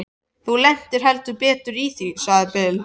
Þú lentir heldur betur í því, sagði Bill.